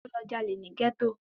Ó lọ jalè ní gẹ́tò